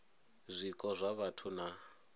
zwiko zwa vhathu na u